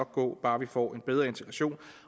gå bare vi får en bedre integration